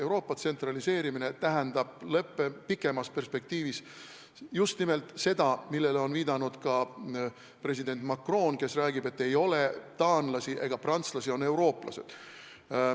Euroopa tsentraliseerimine tähendab pikemas perspektiivis just nimelt seda, millele on viidanud ka president Macron, kes räägib, et ei ole taanlasi ega prantslasi, on eurooplased.